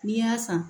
N'i y'a san